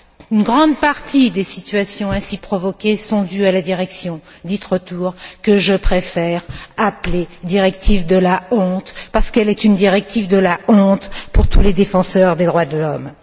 Une grande partie des situations ainsi provoquées sont dues à la directive dite retour, que je préfère appeler directive de la honte, parce qu'elle est une directive de la honte pour tous les défenseurs des droits de l'homme.